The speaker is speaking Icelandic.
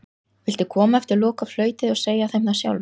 Viltu koma eftir lokaflautið og segja þeim það sjálfur?